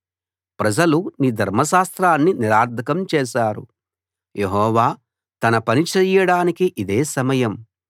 ప్రజలు నీ ధర్మశాస్త్రాన్ని నిరర్థకం చేశారు యెహోవా తన పని చెయ్యడానికి ఇదే సమయం